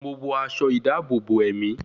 Mo wọ aṣọ ìdáàbòbò ẹ̀mí